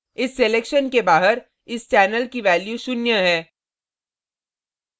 इस selection के बाहर इस channel की value शून्य है